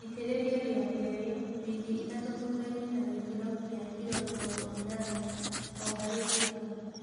Itĩrĩria rĩa kelĩ wiki ithatũ thuthainĩ na gĩkĩro kĩa kilo mĩrongo ĩnana o harĩ ĩka